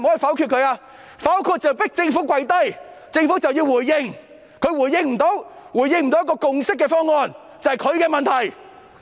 否決便是要迫政府"跪低"，屆時政府便要回應，如果政府不能提出一個達致共識的方案，那是政府的問題。